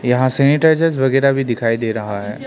यहां सैनिटाइजर वगैरा भी दिखाई दे रहा है।